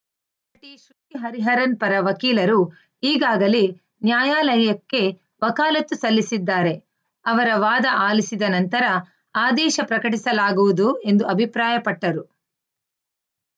ಹರಿಹರನ್‌ ಪರ ವಕೀಲರು ಈಗಾಗಲೇ ನ್ಯಾಯಾಲಯಕ್ಕೆ ವಕಾಲತ್ತು ಸಲ್ಲಿಸಿದ್ದಾರೆ ಅವರ ವಾದ ಆಲಿಸಿದ ನಂತರ ಆದೇಶ ಪ್ರಕಟಿಸಲಾಗುವುದು ಎಂದು ಅಭಿಪ್ರಾಯಪಟ್ಟರು